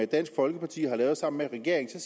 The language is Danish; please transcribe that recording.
dansk folkeparti har lavet sammen med regeringen